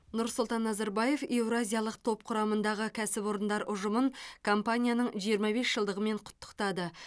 нұрсұлтан назарбаев еуразиялық топ құрамындағы кәсіпорындар ұжымын компанияның жиырма бес жылдығымен құттықтады